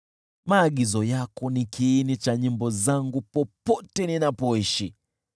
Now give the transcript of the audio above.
Maagizo yako ni kiini cha nyimbo zangu popote ninapoishi.